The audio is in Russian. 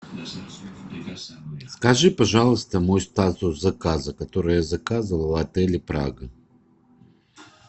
скажи пожалуйста мой статус заказа который я заказывал в отеле прага